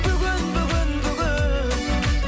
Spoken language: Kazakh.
бүгін бүгін бүгін